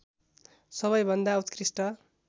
सबैभन्दा उत्कृष्ट